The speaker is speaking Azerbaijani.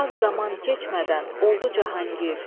Az zaman keçmədən oldu Cahanqir.